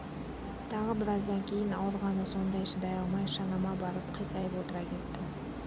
тағы біраздан кейін ауырғаны сондай шыдай алмай шанама барып қисайып отыра кеттім